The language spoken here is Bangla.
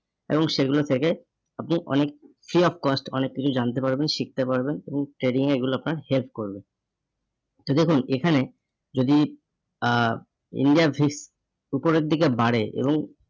এবং সেগুলো থেকে আপনি অনেক free of cost অনেক কিছু জানতে পারবেন, শিখতে পারবেন. এবং trading এ এগুলো আপনার help করবে তো দেখুন এখানে যদি আহ India এর উপরের দিকে বাড়ে